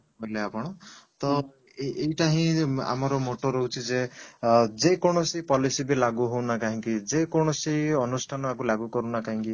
କହିଲେ ଆପଣ ତ ଏଇଟା ହିଁ ଆମର moto ରହୁଛି ଯେ ଅଂ ଯେ କୌଣସି policy ଲାଗୁ ନା କାହିଁକି ଯେକୌଣସି ଅନୁଷ୍ଠାନ ଲାଗୁ କରୁ ନା କାହିଁକି